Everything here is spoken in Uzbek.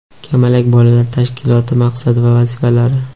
"Kamalak" bolalar tashkiloti maqsad va vazifalari.